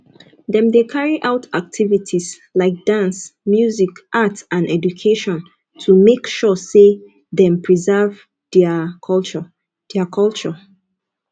dem de carry out activities like dance music art and education to make sure say them preserve thier culture thier culture